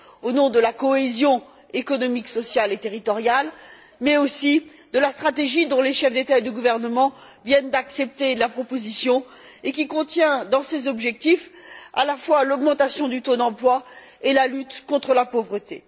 au nom de la cohésion économique, sociale et territoriale mais aussi de la stratégie dont les chefs d'État et de gouvernement viennent d'accepter la proposition et qui contient dans ses objectifs à la fois l'augmentation du taux d'emploi et la lutte contre la pauvreté.